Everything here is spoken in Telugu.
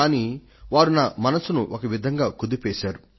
కానీ వారు నా మనసును ఒక విధంగా కుదిపేశారు